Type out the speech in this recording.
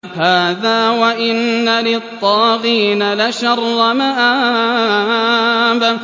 هَٰذَا ۚ وَإِنَّ لِلطَّاغِينَ لَشَرَّ مَآبٍ